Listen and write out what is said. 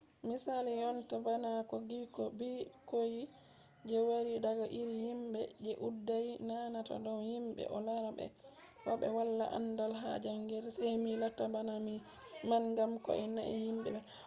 misali jonta bana no ɓikkoy je wari daga iri yimɓe je ɗuuɗai nanata dow yimɓe ɗo laara ɓe ba ɓe wala aandal ha jaangirde sey mi latta bana ni man ngam ko ɓe nani yimɓe wiyata